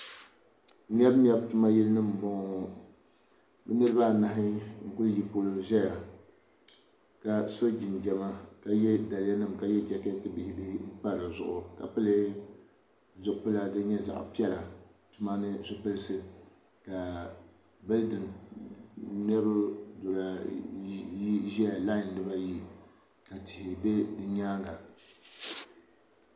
mebu mebu tumayili nima m-bɔŋɔ bɛ niriba anahi n-kuli yi polo zaya ka so jinjɛma ka ye daliyanima ka ye jekeeti bihi bihi pa di zuɣu ka pili zupila din nyɛ zaɣ'piɛla tuma ni zupilisi ka bilidini mebu duri ayi ʒia laayi di baa ayi tihi be di nyaanga